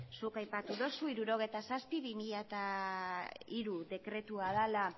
zuk aipatu duzu hirurogeita zazpi barra bi mila hiru dekretua dela